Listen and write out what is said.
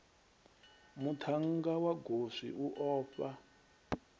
muthannga wa goswi u ofha